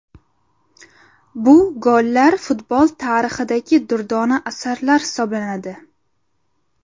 Bu gollar futbol tarixidagi durdona asarlar hisoblanadi.